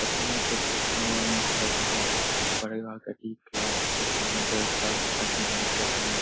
पता नहीं सब लिखा हुआ है यहाँ पे लगा हुआ है परिवार का एक क्लास के सामने का समय --